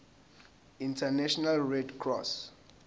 international red cross